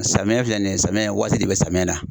Samiyɛ filɛ nin ye samiyɛ in waati de bɛ samiyɛ na